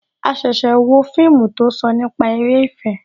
A ṣẹ̀ṣẹ̀ wo fíìmù tó sọ nípa eré ìfẹ́